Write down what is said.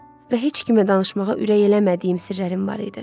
Və heç kimə danışmağa ürək eləmədiyim sirlərim var idi.